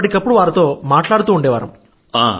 ఎప్పటికప్పుడు వారితో మాట్లాడుతూ ఉండేవాళ్లం